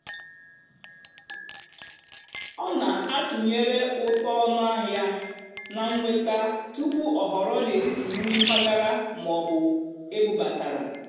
ọ́ nà-àtụ́nyeré ùtó ónúàhịá nà nnwètá túpú ọ́ họ̀rọ́ n'étìtì nrì mpàgàrà mà ọ́ bụ́ ébúbátàrá.